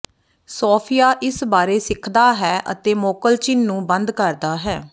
ਸੋਫਿਆ ਇਸ ਬਾਰੇ ਸਿੱਖਦਾ ਹੈ ਅਤੇ ਮੋਕਲਚਿਨ ਨੂੰ ਬੰਦ ਕਰਦਾ ਹੈ